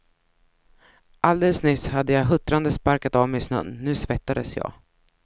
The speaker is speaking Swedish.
Alldeles nyss hade jag huttrande sparkat av mig snön, nu svettades jag.